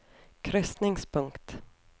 krysningspunkt